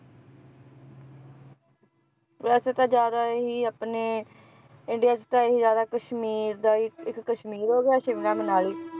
ਵੈਸੇ ਤਾਂ ਜ਼ਿਆਦਾ ਇਹੀ ਆਪਣੇ ਇੰਡੀਆ ਚ ਤਾਂ ਇਹੀ ਜ਼ਿਆਦਾ ਕਸ਼ਮੀਰ ਦਾ ਹੀ ਇੱਕ ਕਸ਼ਮੀਰ ਹੋ ਗਿਆ ਸ਼ਿਮਲਾ ਮਨਾਲੀ